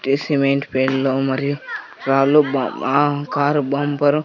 cement మరియు రాళ్ళు బా కారు బంపరు --